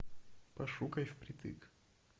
пошукай впритык